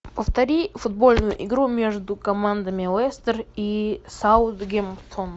повтори футбольную игру между командами лестер и саутгемптон